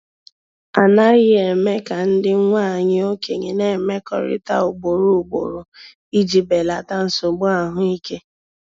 A naghị eme ka ndị nwanyị okenye na-emekọrịta ugboro ugboro iji belata nsogbu ahụike.